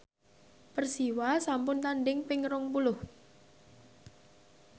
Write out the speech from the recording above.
Persiwa sampun tandhing ping rong puluh